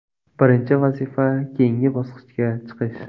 Birinchi vazifa keyingi bosqichga chiqish.